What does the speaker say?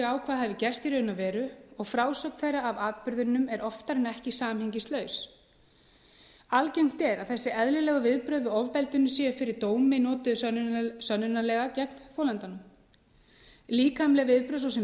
hafi gerst í raun og veru og frásögn þeirra af atburðinum er oftar en ekki samhengislaus algengt er að þessi eðlilegu viðbrögð við ofbeldinu séu fyrir dómi notuð sönnunarlega gegn þolandanum líkamleg viðbrögð svo sem